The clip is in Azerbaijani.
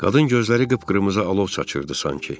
Qadın gözləri qıpqırmızı alov saçılırdı sanki.